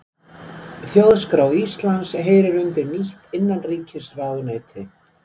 Þjóðskrá Íslands heyrir undir nýtt innanríkisráðuneyti